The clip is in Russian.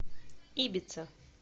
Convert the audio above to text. ибица